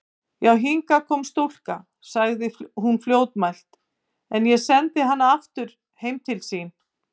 Já, hingað kom stúlka, sagði hún fljótmælt,-en ég sendi hana aftur heim til sín.